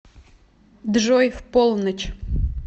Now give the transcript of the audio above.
джой в полночь